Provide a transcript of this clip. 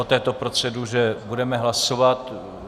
O této proceduře budeme hlasovat.